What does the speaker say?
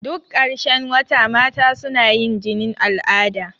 Duk ƙarshen wata mata suna yin jinin al'ada.